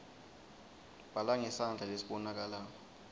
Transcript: bhala ngesandla lesibonakalako